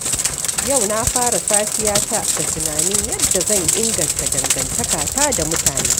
Yau na fara safiyata da tunanin yadda zan inganta dangantakata da mutane.